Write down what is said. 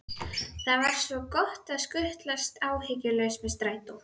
Það er svo gott að skutlast áhyggjulaus með strætó.